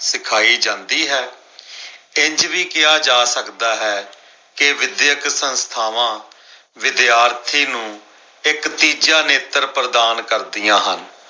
ਸਿਖਾਈ ਜਾਂਦੀ ਹੈ। ਇੰਝ ਵੀ ਕਿਹਾ ਜਾ ਸਕਦਾ ਹੈ ਕੇ ਵਿਧਿਅਕ ਸੰਸਥਾਵਾਂ ਵਿਦਿਆਰਥੀ ਨੂੰ ਇੱਕ ਤੀਜਾ ਨੇਤਰ ਪ੍ਰਦਾਨ ਕਰਦੀਆਂ ਹਨ।